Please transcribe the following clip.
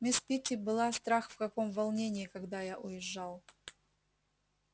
мисс питти была страх в каком волнении когда я уезжал